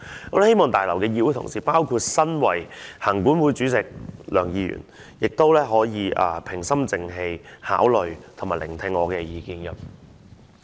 我希望大樓的議會同事，包括身為行管會主席梁議員，亦都平心靜氣地聆聽及考慮我的意見。